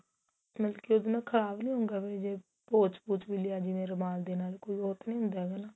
ਮਤਲਬ ਕੀ ਉਹਦੇ ਨਾਲ ਖਰਾਬ ਨੀ ਹੋਊਗਾ ਵੀ ਜੇ ਪੋਚ ਪੁਚ ਵੀ ਲਿਆ ਜਿਵੇਂ ਰੁਮਾਲ ਦੇ ਨਾਲ ਕੋਈ ਉਹ ਤਾਂ ਨੀ ਹੁੰਦਾ ਹੈਗਾ ਨਾ